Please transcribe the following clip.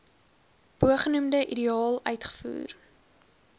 bogenoemde ideaal uitgevoer